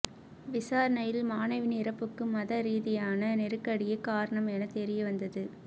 விசாரணையில் மாணவியின் இறப்புக்கு மத ரீதியான நெருக்கடியே காரணம் என தெரியவந்தது